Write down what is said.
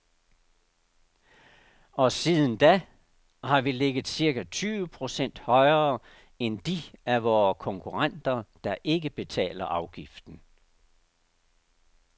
Og siden da har vi ligget cirka tyve procent højere end de af vore konkurrenter, der ikke betaler afgiften.